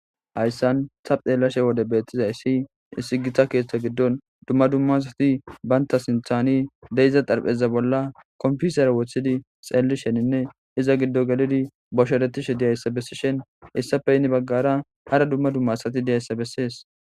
hayssan sabxeellashe wode beettiza issi isigita keeththa giddon dumma dumma asati baynta sinthani deyiza darpheza bolla komfusera woththidi xeelli sheninne iza giddo gelidi bosheretishe diyayssa bessishen issafe yini baggara hara dumma dumma asati diyayssa bessees